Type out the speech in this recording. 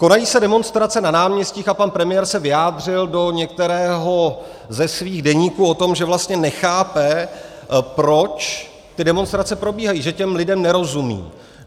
Konají se demonstrace na náměstích a pan premiér se vyjádřil do některého ze svých deníků o tom, že vlastně nechápe, proč ty demonstrace probíhají, že těm lidem nerozumí.